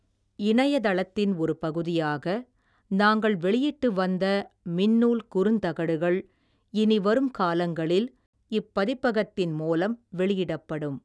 இணைய தளத்தின் ஒரு பகுதியாக, நாங்கள் வெளியிட்டு வந்த, மின்னூல் குறுந்தகடுகள், இனி வரும் காலங்களில், இப்பதிப்பகத்தின் மூலம் வெளியிடப்படும்.